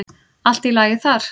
Allt í lagi þar.